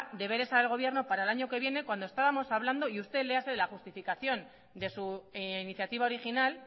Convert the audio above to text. deberes al gobierno para el año que viene cuando estábamos hablando y usted le hace la justificación de su iniciativa original